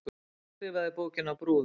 Hver skrifaði bókina Brúðan?